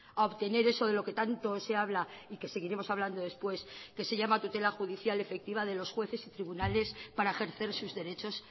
a obtener eso de lo que tanto se habla y que seguiremos hablando después que se llama tutela judicial efectiva de los jueces y tribunales para ejercer sus derechos